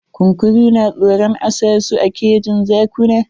Kunkuru na tsoron a sa su a kejin zakuna.